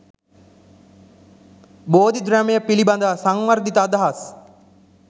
බෝධිද්‍රැමය පිළිබඳ සංවර්ධිත අදහස්